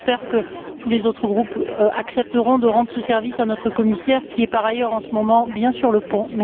J'espère donc que tous les autres groupes accepteront de rendre ce service à notre commissaire, qui est par ailleurs, en ce moment, bien sur le pont.